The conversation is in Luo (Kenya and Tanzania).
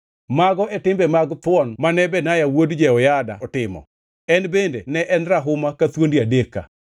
Mago e timbe mag thuon mane Benaya wuod Jehoyada otimo, en bende ne en rahuma ka thuondi adek ka.